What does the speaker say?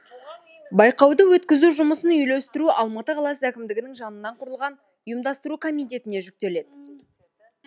байқауды өткізу жұмысын үйлестіру алматы қаласы әкімідігінің жанынан құрылған ұйымдастыру комитетіне жүктеледі